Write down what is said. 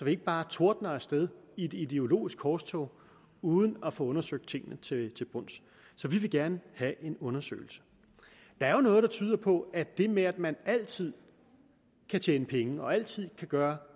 ikke bare tordner af sted i et ideologisk korstog uden at få undersøgt tingene til bunds så vi vil gerne have en undersøgelse der er jo noget der tyder på at det med at man altid kan tjene penge og altid kan gøre